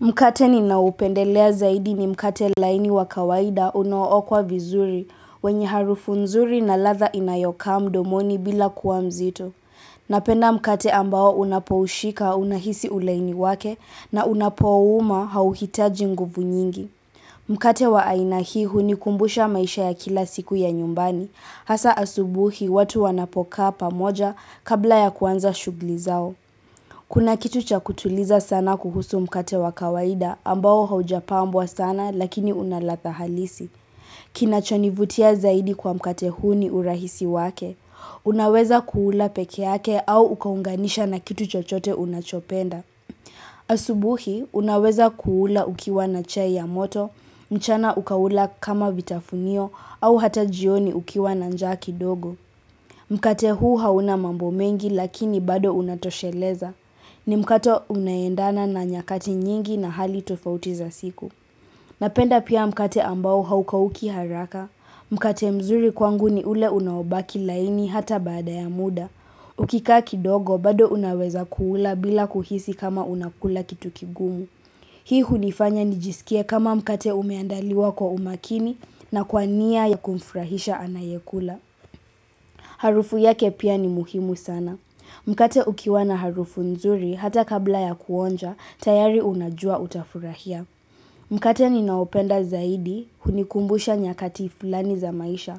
Mkate ni naopendelea zaidi ni mkate laini wa kawaida unaookwa vizuri, wenye harufu nzuri na ladha inayokaa mdomoni bila kuwa mzito. Napenda mkate ambao unapoushika unahisi ulaini wake na unapouuma hauhitaji nguvu nyingi. Mkate wa aina hii hunikumbusha maisha ya kila siku ya nyumbani, hasaa asubuhi watu wanapokaa pamoja kabla ya kuanza shughuli zao. Kuna kitu cha kutuliza sana kuhusu mkate wa kawaida ambao haujapambwa sana lakini unaladha halisi. Kinachonivutia zaidi kwa mkate huu ni urahisi wake. Unaweza kuula peke yake au ukaunganisha na kitu chochote unachopenda. Asubuhi, unaweza kuula ukiwa na chai ya moto, mchana ukaula kama vitafunio au hata jioni ukiwa na njaa kidogo. Mkate huu hauna mambo mengi lakini bado unatosheleza. Ni mkate unaendana na nyakati nyingi na hali tofauti za siku. Napenda pia mkate ambao haukauki haraka. Mkate mzuri kwangu ni ule unaobaki laini hata baada ya muda. Ukikaa kidogo bado unaweza kuula bila kuhisi kama unakula kitu kigumu. Hii hunifanya nijisikie kama mkate umeandaliwa kwa umakini na kwa nia ya kumfurahisha anayekula. Harufu yake pia ni muhimu sana. Mkate ukiwa na harufu nzuri hata kabla ya kuonja, tayari unajua utafurahia. Mkate ninaopenda zaidi, hunikumbusha nyakati fulani za maisha.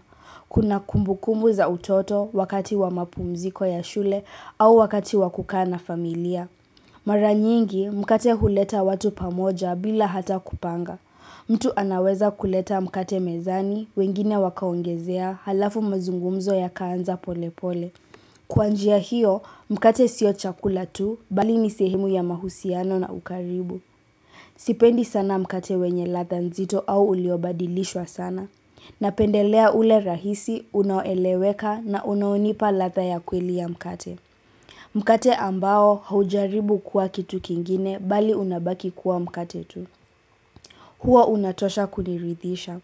Kuna kumbukumbu za utoto wakati wa mapumziko ya shule au wakati wa kukaa na familia. Mara nyingi, mkate huleta watu pamoja bila hata kupanga. Mtu anaweza kuleta mkate mezani, wengine wakaongezea, halafu mazungumzo yakaanza pole pole. Kwa njia hiyo, mkate sio chakula tu, bali ni sehemu ya mahusiano na ukaribu. Sipendi sana mkate wenye ladha nzito au uliobadilishwa sana Napendelea ule rahisi, unaoeleweka na unaounipa ladha ya kweli ya mkate Mkate ambao haujaribu kuwa kitu kingine, bali unabaki kuwa mkate tu huo unatosha kuniridhisha.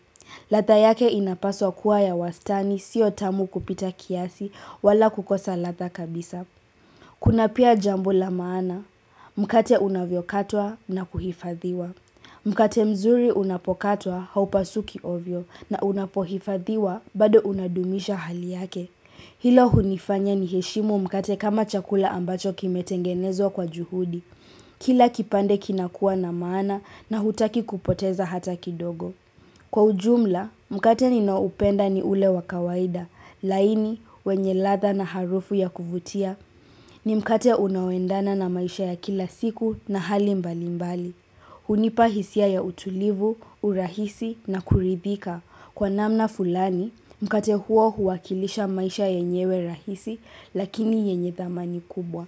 Ladha yake inapaswa kuwa ya wastani sio tamu kupita kiasi wala kukosa ladha kabisa. Kuna pia jambo la maana, mkate unavyokatwa na kuhifadhiwa. Mkate mzuri unapokatwa haupasuki ovyo na unapohifadhiwa bado unadumisha hali yake. Hilo hunifanya niheshimu mkate kama chakula ambacho kimetengenezwa kwa juhudi. Kila kipande kinakuwa na maana na hutaki kupoteza hata kidogo. Kwa ujumla, mkate ninaoupenda ni ule wa kawaida, laini wenye ladha na harufu ya kuvutia, ni mkate unaoendana na maisha ya kila siku na hali mbali mbali. Hunipa hisia ya utulivu, urahisi na kuridhika. Kwa namna fulani, mkate huo huwakilisha maisha yenyewe rahisi, lakini yenye thamani kubwa.